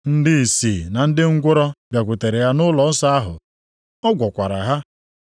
Ndị ìsì na ndị ngwụrọ bịakwutere ya nʼụlọnsọ ahụ. Ọ gwọkwara ha.